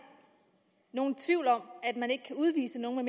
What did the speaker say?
nogen tvivl om at man ikke kan udvise nogen